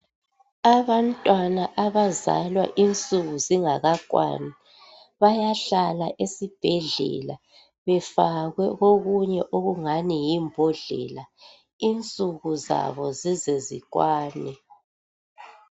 Abantwana abazalwa insuku zingakakwani bayahlala esibhedlela befakwe kokungani yimbodlela insuku zabo zize zikwane.